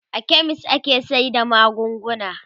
a chemist ake sayar da magunguna